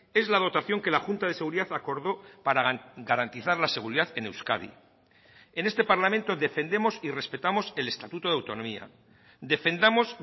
es la dotación que la junta de seguridad acordó para garantizar la seguridad en euskadi en este parlamento defendemos y respetamos el estatuto de autonomía defendamos